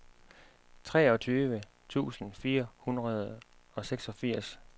treogtyve tusind fire hundrede og seksogfirs